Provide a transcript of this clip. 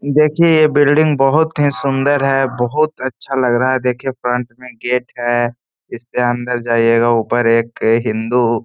देखिए ये बिल्डिंग बहुत ही सुंदर है बहुत अच्छा लग रहा है देखिए फ्रंट में गेट है इसके अंदर जाइयेगा ऊपर एक हिन्दू --